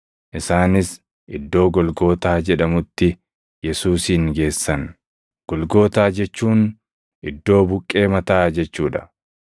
Isaanis iddoo Golgootaa jedhamutti Yesuusin geessan; Golgootaa jechuun “Iddoo buqqee mataa” jechuu dha.